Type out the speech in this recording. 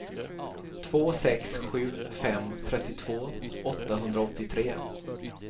två sex sju fem trettiotvå åttahundraåttiotre